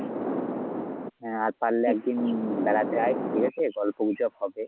হ্যাঁ আর পারলে একদিন বেড়াতে যায় ঠিক আছে গল্পগুজব হবে।